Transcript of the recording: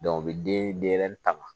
u bɛ denɲɛrɛnin taga